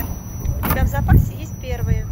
у тебя в запасе есть первые